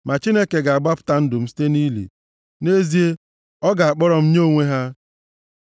Ma Chineke ga-agbapụta ndụ m site nʼili, + 49:15 \+xt Hos 13:4; Mak 16:6-7\+xt* nʼezie, ọ ga-akpọrọ m nye onwe ya. Sela